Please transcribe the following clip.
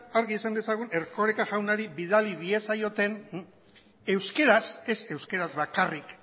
argi esan dezagun erkoreka jaunari bidali diezaioten euskaraz ez euskaraz bakarrik